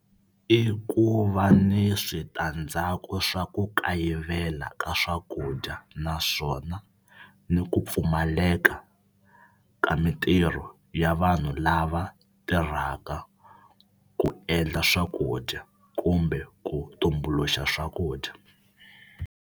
I ku va ni switandzhaku swa ku kayivela ka swakudya naswona ni ku pfumaleka ka mitirho ya vanhu lava tirhaka ku endla swakudya kumbe ku tumbuluxa swakudya.